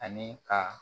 Ani ka